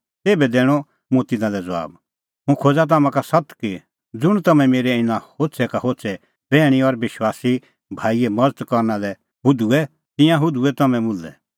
तेभै दैणअ मुंह तिन्नां लै ज़बाब हुंह खोज़ा तम्हां का सत्त कि ज़ुंण तम्हैं मेरै इना होछ़ै का होछ़ै बैहणी और विश्वासी भाईए मज़त करना लै हुधूऐ तिंयां हुधूऐ तम्हैं मुल्है